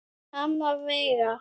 Amma Veiga.